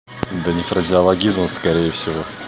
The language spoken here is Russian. да не фразеологизмов скорее всего